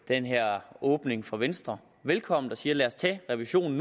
den her åbning fra venstre velkommen og siger lad os tage den revision